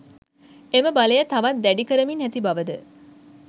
එම බලය තවත් දැඩි කරමින් ඇති බවද